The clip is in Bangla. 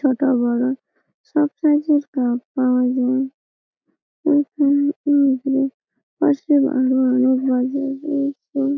ছোট বড় সব সাইজ -এর কাপ পাওয়া যায় এইখানে অনেকগুলো পাশে আর ও আর ও --]